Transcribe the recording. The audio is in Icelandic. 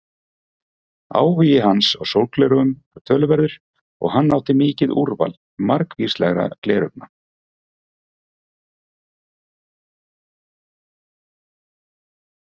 Áhugi hans á sólgleraugum var töluverður og hann átti mikið úrval margvíslegra gleraugna.